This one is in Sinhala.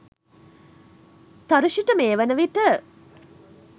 තරුෂි ට මේ වනවිට